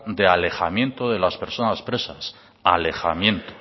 de alejamiento de las personas presas alejamiento